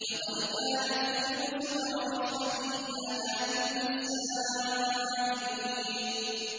۞ لَّقَدْ كَانَ فِي يُوسُفَ وَإِخْوَتِهِ آيَاتٌ لِّلسَّائِلِينَ